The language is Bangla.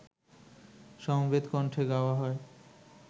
সমবেত কণ্ঠে গাওয়া হয়